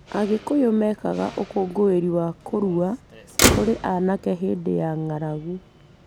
Agĩkuyu mekaga ũkũngũĩri wa kũrua kũrĩ anake hĩndĩ ya ng’aragu.